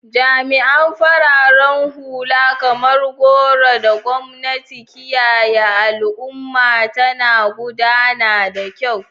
Jami'an farar hula, kamar goron da gwamnati, kiyaye al'umma tana gudana da kyau.